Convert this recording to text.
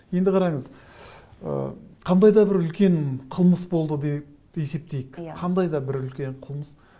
енді қараңыз ы қандай да бір үлкен қылмыс болды дейік есептейік иә қандайда бір үлкен қылмыс